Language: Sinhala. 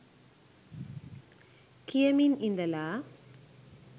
කියමින් ඉඳලා